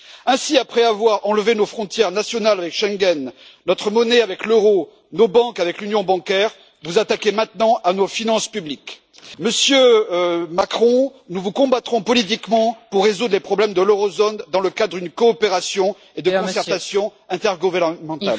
Ainsi, après avoir enlevé nos frontières nationales avec Schengen, notre monnaie avec l'euro, nos banques avec l'union bancaire, vous vous attaquez maintenant à nos finances publiques. Monsieur Macron, nous vous combattrons politiquement pour résoudre les problèmes de la zone euro dans le cadre d'une coopération et d'une concertation intergouvernementales.